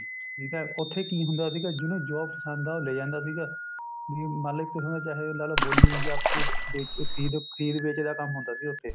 ਠੀਕ ਹੈ ਉਥੇ ਕੀ ਹੁੰਦਾ ਸੀ ਜਿਹਨੂੰ ਜੋ ਪਸੰਦ ਹੈ ਉਹ ਲੈ ਜਾਂਦਾ ਸੀਗਾ